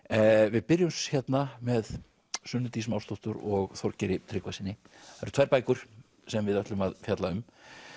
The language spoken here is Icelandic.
við byrjum hérna með Sunnu Dís Másdóttur og Þorgeiri Tryggvasyni það eru tvær bækur sem við ætlum að fjalla um